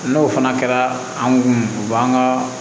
N'o fana kɛra anw kun u b'an ka